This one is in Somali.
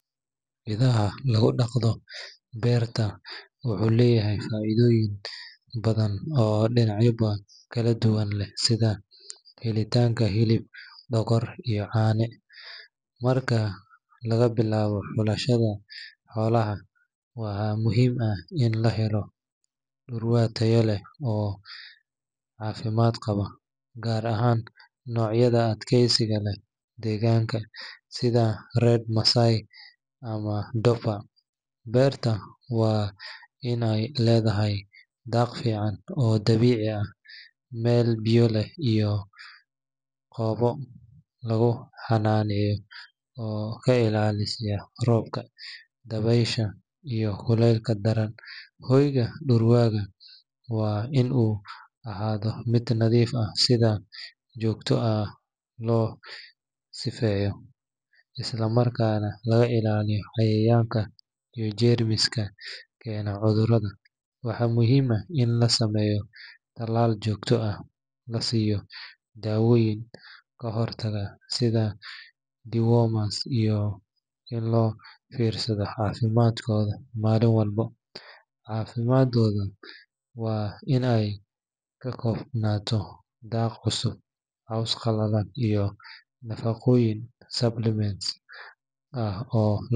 Idhada lagu dhaqdo beerta wuxuu leeyahay faa’iidooyin badan oo dhinacyo kala duwan leh sida helitaanka hilib, dhogor iyo caano. Marka laga bilaabo xulashada xoolaha, waxaa muhiim ah in la helo dhurwaa tayo leh oo caafimaad qaba, gaar ahaan noocyada u adkaysiga leh deegaanka, sida Red Maasai ama Dorper. Beerta waa in ay leedahay daaq fiican oo dabiici ah, meel biyo leh, iyo goobo lagu xanaaneeyo oo ka ilaaliya roobka, dabaysha iyo kuleylka daran. Hoyga dhurwaaga waa in uu ahaado mid nadiif ah, si joogto ah loo sifeeyo, islamarkaana laga ilaaliyo cayayaanka iyo jeermiska keena cudurrada. Waxaa muhiim ah in la sameeyo talaal joogto ah, la siiyo dawooyin ka hortag ah sida dewormers iyo in loo fiirsado caafimaadkooda maalin walba. Cuntadooda waa in ay ka koobnaato daaq cusub, caws qalalan iyo nafaqooyin supplements ah oo.